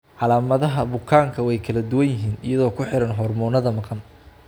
Calaamadaha iyo calaamadaha bukaanku way kala duwan yihiin iyadoo ku xiran hormoonnada maqan.